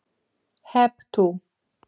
Hep tú!